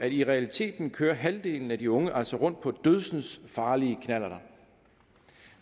i realiteten kører halvdelen af de unge altså rundt på dødsensfarlige knallerter